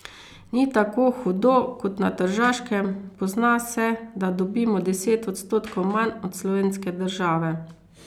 Ni tako hudo kot na Tržaškem, pozna se, da dobimo deset odstotkov manj od slovenske države.